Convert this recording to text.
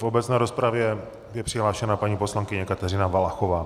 V obecné rozpravě je přihlášena paní poslankyně Kateřina Valachová.